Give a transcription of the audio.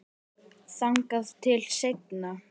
Þangað til seinna.